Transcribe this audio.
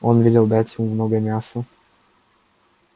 он велел дать ему много мяса